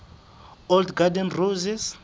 old garden roses